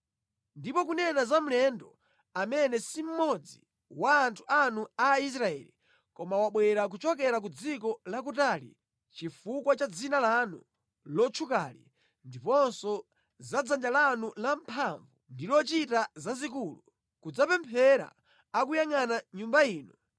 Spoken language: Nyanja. “Ndipo kunena za mlendo amene si mmodzi wa anthu anu Aisraeli, koma wabwera kuchokera ku dziko lakutali chifukwa cha dzina lanu lotchukali, ndiponso za dzanja lanu lamphamvu ndi lochita zazikulu, kudzapemphera akuyangʼana Nyumba ino,